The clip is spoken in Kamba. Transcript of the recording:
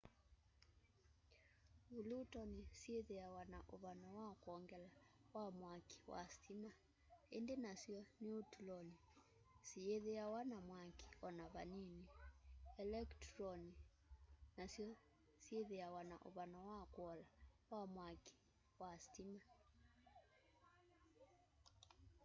vulotoni syithiawa na uvano wa kwongela wa mwaki wa sitima indi nasyo niutuloni siyithiawa na mwaki ona vanini elekituloni nasyo syithiawa na uvano wa kuola wa mwaki wa sitima